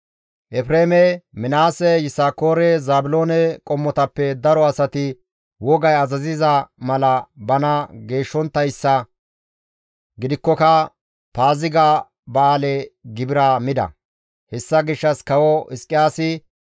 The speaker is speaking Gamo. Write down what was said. Efreeme, Minaase, Yisakoore, Zaabiloone qommotappe daro asati wogay azaziza mala bana geeshshonttayssa gidikkoka, Paaziga ba7aale gibira mida; hessa gishshas kawo Hizqiyaasi,